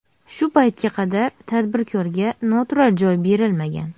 Shu paytga qadar tadbirkorga noturar joy berilmagan.